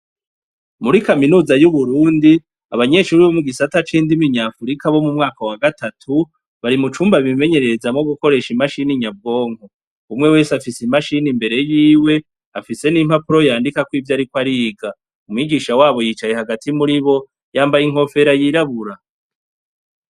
Muri kaminuza y'uburundi abanyenshuri bo mu gisata c'indimi nyafurika bo mu mwaka wa gatatu bari mu cumba bimenyerereza mo gukoresha imashini nyabwonko, umwe wesu afise imashini imbere yiwe afise n'impapuro yandikako ivyo ariko ariga, umwigisha wabo yicaye hagati muri bo yambaye inkofera yirabura.